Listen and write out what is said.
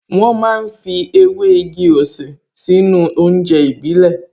Wọ́n ma ń fi ewé igi-osè sínú oúnjẹ ìbílẹ̀